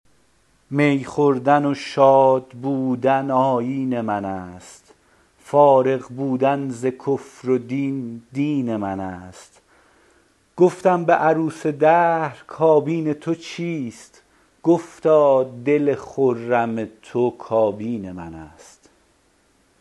می خوردن و شاد بودن آیین من است فارغ بودن ز کفر و دین دین من است گفتم به عروس دهر کابین تو چیست گفتادل خرم تو کابین من است